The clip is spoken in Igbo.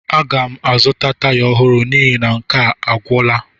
Aga m azụta taya ọhụrụ n'ihi na nke a agwụla.